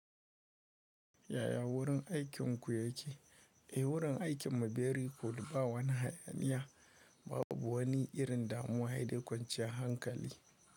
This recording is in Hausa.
Yaya wurin aikinku yake? Eh, wurin aikin mu very good ba wani hayaniya. Babu wani irin damuwa hayde kwanciyar hankali.